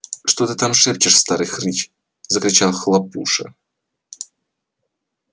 что ты там шепчешь старый хрыч закричал хлопуша